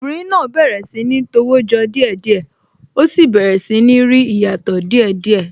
Obìnrin náà bẹ̀rẹ̀ sí ní tọwọ́ jọ díẹ̀ díẹ̀, ó sì bẹ̀rẹ̀ sí ní rí ìyàtọ̀ díè díẹ̀